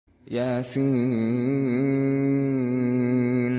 يس